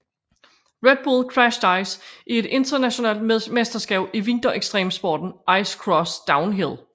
Red Bull Crashed Ice er et internationalt mesterskab i vinter ekstremsporten ice cross downhill